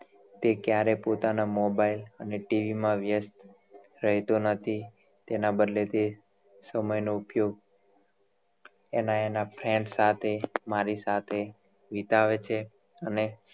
તે ક્યારે પોતાના મોબાઈલ અને tv માં વ્યસ્ત રહેતો નથી તેના બદલે તે સમય નો ઉપયોગ એમાં એના friends સાથે મારી સાથે વિતાવે છે અને